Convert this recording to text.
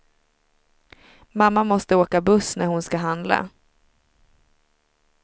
Mamma måste åka buss när hon ska handla.